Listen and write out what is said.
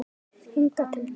Hingað til okkar?